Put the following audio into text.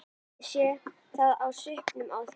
Ég sé það á svipnum á þér.